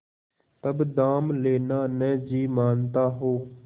तब दाम लेना न जी मानता हो